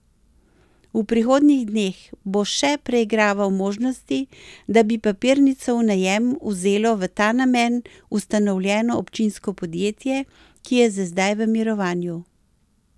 V prihodnjih dneh bo še preigraval možnosti, da bi papirnico v najem vzelo v ta namen ustanovljeno občinsko podjetje, ki je za zdaj v mirovanju.